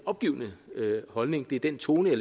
opgivende holdning det er den tone